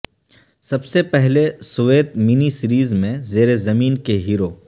سب سے پہلے Soviet mini series میں زیر زمین کے ہیرو